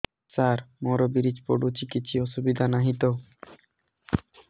ସାର ମୋର ବୀର୍ଯ୍ୟ ପଡୁଛି କିଛି ଅସୁବିଧା ନାହିଁ ତ